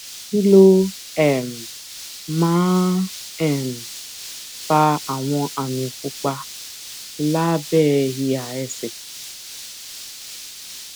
kí ló um máa ń um fa àwọn àmì pupa lábé ìhà ẹsè